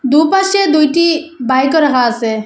দুপাশে দুইটি বাইকও রাখা আসে ।